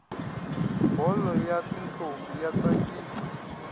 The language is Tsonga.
bholo yatintombi yatsakisa